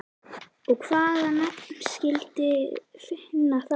Og hvaða nafn skildirðu finna þá?